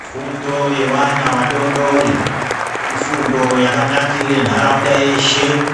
Fundo yevana vadodori ifundo yakanakire nharaunda yeshe.